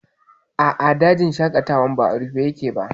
A'a, dajin shaƙatawan ba a rufe yake ba